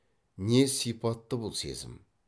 не сипатты бұл сезім